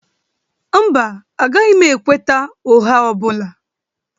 Mba, agaghị m ekweta ụgha ọ bụla